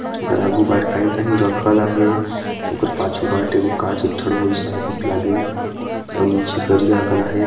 ओकर आगू बाट काही काही रखल आहे अउ पाछू बाट एको का चीज ठड़ोइस आहे कस लागेल अउ निचे करिया अकन आहे।